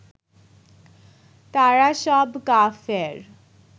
তারা সব কাফের